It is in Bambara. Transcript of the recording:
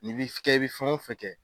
Ni b'i kɛ, i bɛ fɛn o fɛn kɛ.